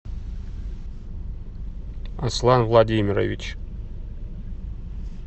аслан владимирович